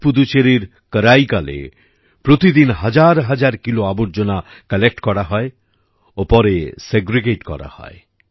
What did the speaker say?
আজ পুদুচেরির করাইকালে প্রতিদিন হাজার হাজার কিলো আবর্জনা কালেক্ট করা হয় ও পরে সেগ্রিগেট করা হয়